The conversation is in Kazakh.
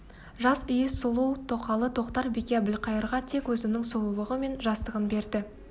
жас иіс сұлу тоқалы тоқтар-бике әбілқайырға тек өзінің сұлулығы мен жастығын берді